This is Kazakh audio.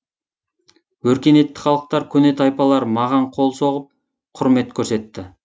өркениетті халықтар көне тайпалар маған қол соғып құрмет көрсетті